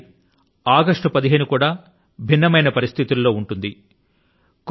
ఈసారి ఆగస్టు 15 కూడా భిన్నమైన పరిస్థితుల లో ఉంటుంది